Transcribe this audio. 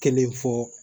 Kelen fɔ